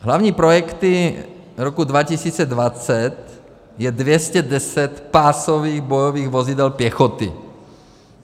Hlavními projekty roku 2020 je 210 pásových bojových vozidel pěchoty.